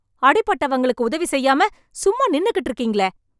அடிபட்டவங்களுக்கு உதவி செய்யாம, சும்மா நின்னுகிட்டு இருக்கீங்களே..